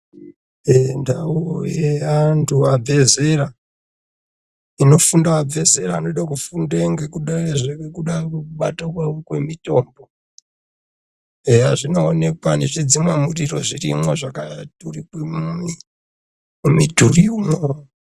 Ndau yevanhu vabve zera. Inofunde vabve zera vanoda kufunda ngekuda kwekubate kwemitombo. Eya zvinoonekwa nezvidzimamuriro zvirimwo zvakaturikwe mumidhuri umwo.